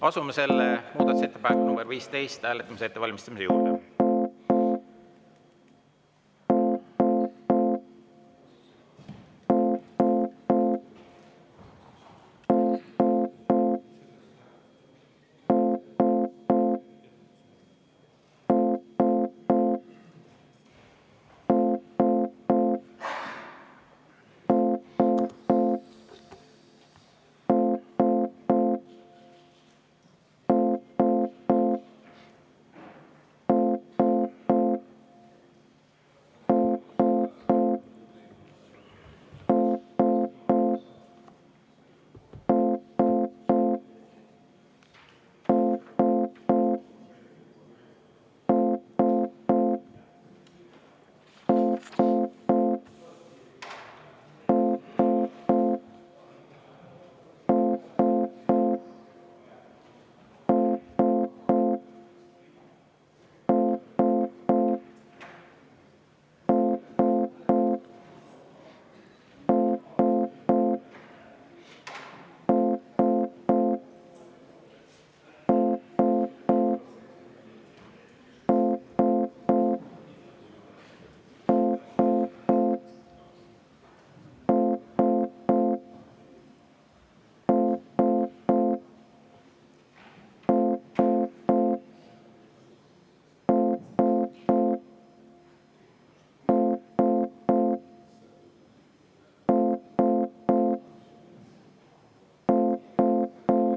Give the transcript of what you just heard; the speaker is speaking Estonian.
Asume muudatusettepaneku nr 15 hääletamise ettevalmistamise juurde.